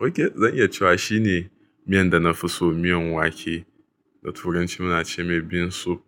okay zan iya cewa shine miyan da na fi so miyan wake da turanci muna ce mai bean soup.